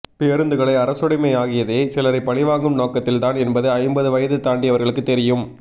பேருந்துகளை அரசுடமை ஆகியதே சிலரைபழிவாங்கும் நோக்கத்தில் தான் என்பது ஐம்பது வயது தாண்டியவர்களுக்கு தெரியும்